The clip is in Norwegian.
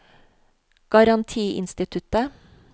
garantiinstituttet